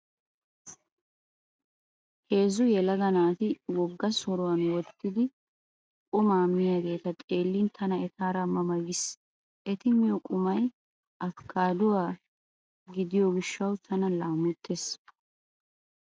Heezzu yelaga naati wogga soruwan woottidi qumaa miyageeta xeellin tana etaara ma ma giis. Eti miyo qumay afikaaduwa gidiyo gishshawu tana laamottees.